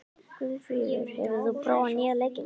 Guðfríður, hefur þú prófað nýja leikinn?